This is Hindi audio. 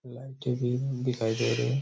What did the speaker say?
लाइटे भी दिखाई दे रही--